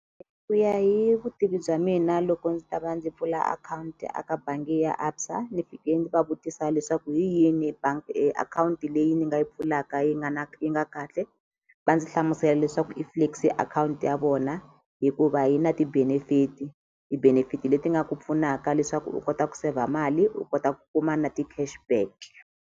Ku ya hi vutivi bya mina loko ndzi ta va ndzi pfula akhawunti a ka bangi ya ABSA ndzi fike ndzi va vutisa leswaku hi yini bangi akhawunti leyi ni nga yi pfulaka yi nga na yi nga kahle va ndzi hlamusela leswaku i akhawunti ya vona hikuva yi na ti-benefit ti-benefit leti nga ku pfunaka leswaku u kota ku saver mali u kota ku kuma na ti-cash back.